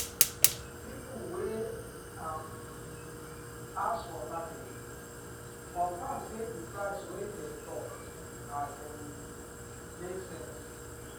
people wey um pass for market confirm say the price wey dem talk um make sense.